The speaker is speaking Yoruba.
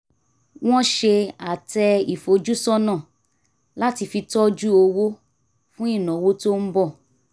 wọ́n ṣe àtẹ ìfojúsọ́nà láti fi tọ́jú owó fún ìnáwó tó ń bọ̀